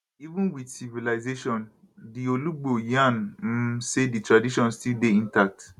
even wit civilization di olugbo yarn um say di tradition still dey intact